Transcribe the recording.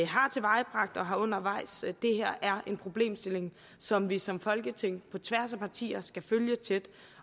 har tilvejebragt og har undervejs det her er en problemstilling som vi som folketing på tværs af partier skal følge tæt